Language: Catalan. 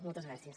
moltes gràcies